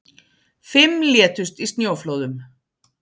Fimm létust í snjóflóðum